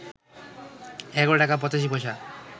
১১ টাকা ৮৫ পয়সা